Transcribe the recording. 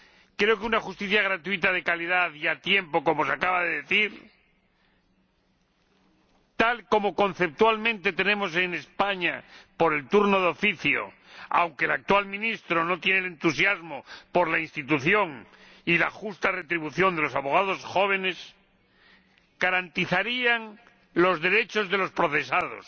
Creo que una justicia gratuita de calidad y a tiempo —como se acaba de decir—, tal como conceptualmente tenemos en España gracias al turno de oficio —aunque el actual Ministro no muestra entusiasmo por la institución y la justa retribución de los abogados jóvenes— garantizaría los derechos de los procesados